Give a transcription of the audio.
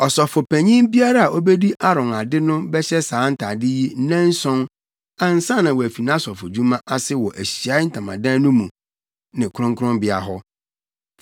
Ɔsɔfopanyin biara a obedi Aaron ade no bɛhyɛ saa ntade yi nnanson ansa na wafi nʼasɔfodwuma ase wɔ Ahyiae Ntamadan no mu ne kronkronbea hɔ.